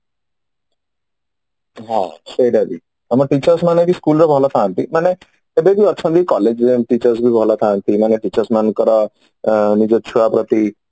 ହଁ ସେଇଟା ବି ଆମ teachers ମାନେ ବି school ରେ ଭଲ ଥାଆନ୍ତି ମାନେ ଏବେ ବି ଅଛନ୍ତି college ରେ ଏମିତି teachers ମାନେ ବି ଭଲଥାନ୍ତି ମାନେ teachers ମାନଙ୍କର ନିଜ ଛୁଆ ପ୍ରତି